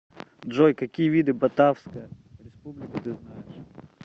джой какие виды батавская республика ты знаешь